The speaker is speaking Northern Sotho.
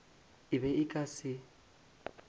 e be e ka se